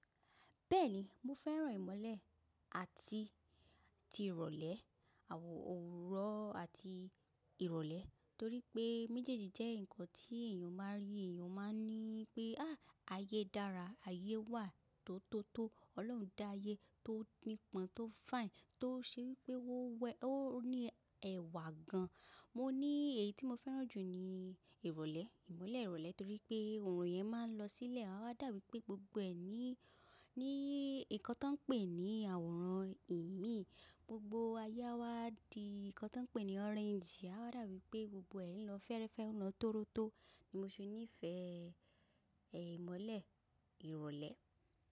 Bẹ́ẹ̀ni, mo fẹ́ràn ìmọ́lẹ̀ àti tí ìrọ̀lẹ́, àwò òórùn àti ìrọ̀lẹ́ torí pé méjèèjì jẹ́ ǹkan tí èyàn máa rí. Èyàn máa ní pé, "ááá ayé dára, ayé wà tó tó tó. Ọlọ́run dá ayé tó nípọn, tó fine, tó ṣe wí pé ó wẹ́, ó ní ẹ̀wà gan." Mo ní èyí tí mo fẹ́ràn jù ni ìrọ̀lẹ́, ìmọ́lẹ̀ ìrọ̀lẹ́ torí pé òòrùn yẹn máa ń lọ sílẹ̀. A wáa dàwí pé gbogbo ẹ ní, ní nǹkan tí wọ́n ń pè ní àwòrán ìmíì. Gbogbo ayé á wá di nǹkan tí wọ́n ń pè ní orange. A wáa dàwí pé gbogbo ẹ n lọ fẹ́ẹ́rẹ́fẹ́, n lọ tórótó ni mo ṣe nífẹ̀ẹ́ ẹ̀ ìmọ́lẹ̀ ìrọ̀lẹ́.